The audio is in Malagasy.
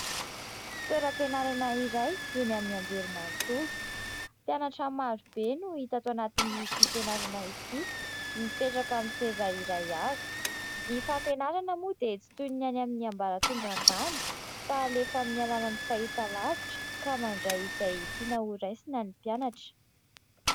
Toeram-pianarana iray eny amin'ny anjerimanontolo. Mpianatra marobe no hita ato anatin'ity fianarana ity mipetraka amin'ny seza iray avy. Ny fampianarana moa dia tsy toy ny any amin'ny ambaratonga ambany fa alefa amin'ny alalan'ny fahita lavitra ka mandray izay tiana ho raisina ny mpianatra.